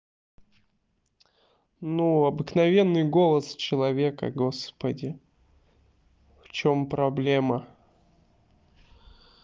ну обыкновенный голос человека господи в чём проблема